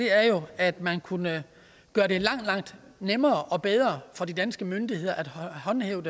er jo at man kunne gøre det langt langt nemmere og bedre for de danske myndigheder at håndhæve